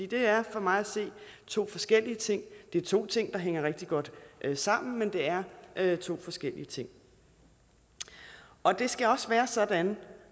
det er for mig at se to forskellige ting det er to ting der hænger rigtig godt sammen men det er er to forskellige ting og det skal også være sådan